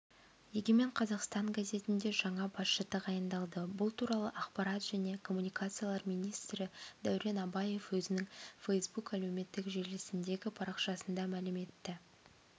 егемен қазақстан газетіне жаңа басшы тағайындалды бұл туралы ақпарат және коммуникациялар министрі дәурен абаев өзінің фейсбук әлеуметтік желісіндегі парақшасында мәлім етті